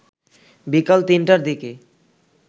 বিকাল ৩টার দিকে